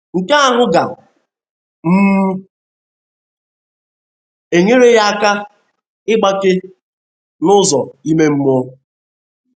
Nke ahụ ga um - enyere ya aka ịgbake n’ụzọ ime mmụọ